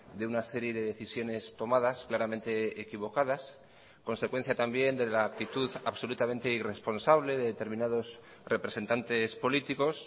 de una serie de decisiones tomadas claramente equivocadas consecuencia también de la actitud absolutamente irresponsable de determinados representantes políticos